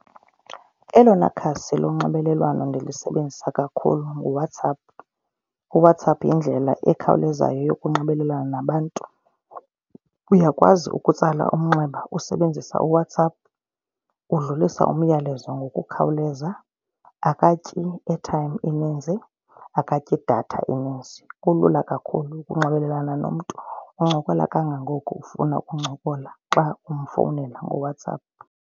Elona khasi lonxibelelwano ndilisebenzise kakhulu nguWhatsApp. UWhatsApp yindlela ekhawulezayo yokunxibelelana nabantu. Uyakwazi ukutsala umnxeba usebenzisa uWhatsApp. Udlulisa umyalezo ngokukhawuleza, akatyi airtime eninzi, akatyi idatha eninzi. Kulula kakhulu ukunxibelelana nomntu uncokola kangangoko ufuna ukuncokola xa umfowunela ngoWhatsApp.